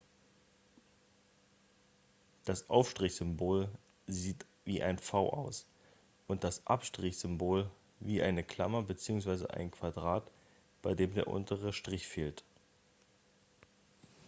das aufstrich -symbol sieht wie ein v aus und das abstrich -symbol wie eine klammer bzw. ein quadrat bei dem der untere strich fehlt